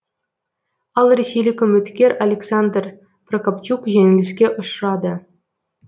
ал ресейлік үміткер александр прокопчук жеңіліске ұшырады